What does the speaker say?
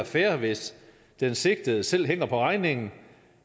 fair hvis den sigtede selv hænger på regningen